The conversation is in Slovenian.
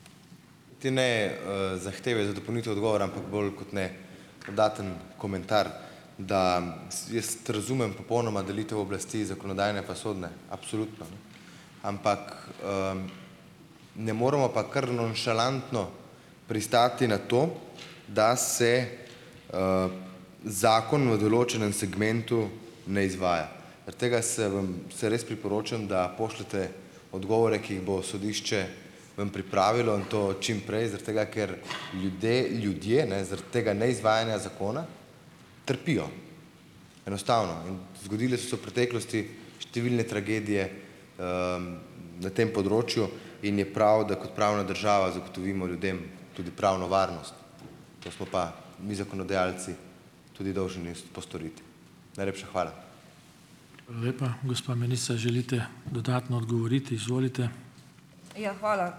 Ti ne zahteve za dopolnitev odgovora, ampak bolj kot ne dodaten komentar, da jaz razumem popolnoma delitev oblasti - zakonodajne pa sodne absolutno, ampak ne moremo pa kar nonšalantno pristati na to, da se zakon v določenem segmentu ne izvaja. tega se vam se res priporočam, da pošljete odgovore, ki jih bo sodišče vam pripravilo, in to čim prej, tega ker ljudje, ljudje ne, tega neizvajanja zakona trpijo, enostavno. In zgodile so se v preteklosti številne tragedije na tem področju in je prav, da kot pravna država zagotovimo ljudem tudi pravno varnost, to smo pa mi zakonodajalci tudi dolžni postoriti. Najlepša hvala.